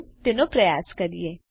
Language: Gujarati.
ચાલો તેનો પ્રયાસ કરીએ